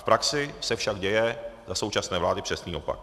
V praxi se však děje za současné vlády přesný opak.